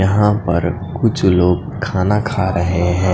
यहाँ पर कुछ लोग खाना खा रहे हैं।